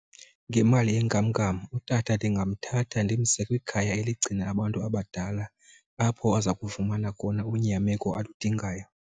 Ngemali yenkamnkam utata ndingamthatha ndimse kwikhaya eligcina abantu abadala apho aza kufumana khona unyameko aludingayo.